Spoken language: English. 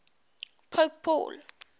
pope paul